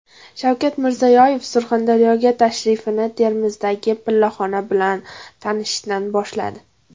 Shavkat Mirziyoyev Surxondaryoga tashrifini Termizdagi pillaxona bilan tanishishdan boshladi.